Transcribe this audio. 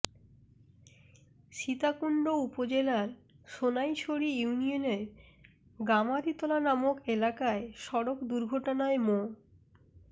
সীতাকুন্ড উপজেলার সোনাইছড়ি ইউনিয়নের গামারিতলা নামক এলাকায় সড়ক দুর্ঘটনায় মো